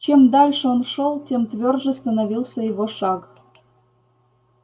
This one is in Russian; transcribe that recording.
чем дальше он шёл тем твёрже становился его шаг